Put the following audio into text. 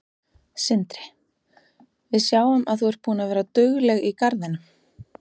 Sindri: Við sjáum að þú er búin að vera dugleg í garðinum?